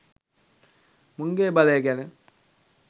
මුන්ගෙ බලය ගැන.